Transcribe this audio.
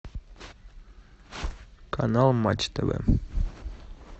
канал матч тв